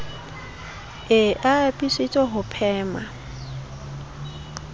e a apesitse ho phema